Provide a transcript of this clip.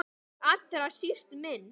Og allra síst minn.